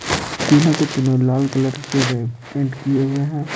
तीनो के तीनो लाल कलर के है पेंट किये हुये है।